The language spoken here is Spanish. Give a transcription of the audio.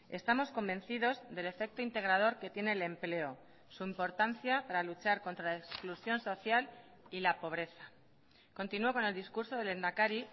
estamos convencidos del efecto integrador que tiene el empleo su importancia para luchar contra la exclusión social y la pobreza continuo con el discurso del lehendakari